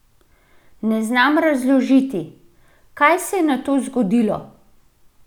Ne znam razložiti, kaj se je nato zgodilo?